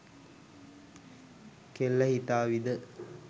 කෙල්ල හිතාවිද